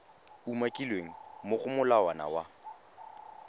umakilweng mo go molawana wa